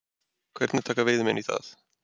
Hvernig taka veiðimenn í það?